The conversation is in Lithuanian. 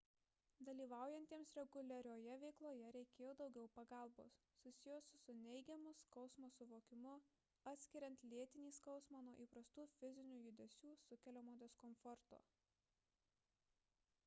dalyvaujantiems reguliarioje veikloje reikėjo daugiau pagalbos susijusios su neigiamu skausmo suvokimu atskiriant lėtinį skausmą nuo įprastų fizinių judesių sukeliamo diskomforto